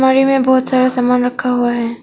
छवि में बहुत सारा सामान रखा हुआ है।